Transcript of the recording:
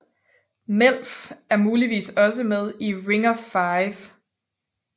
Melf er muligvis også med i Ring of Five